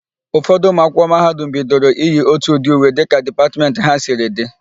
Ụfọdụ ụmụakwụkwọ mahadum bidoro iyi ótù ụdị uwe dịka dipatmentị ha siri dị.